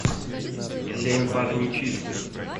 семь пар нечистых